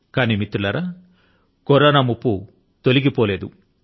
కానీ మిత్రులారా కరోనా ముప్పు తొలగిపోలేదు